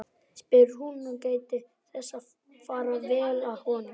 spyr hún og gætir þess að fara vel að honum.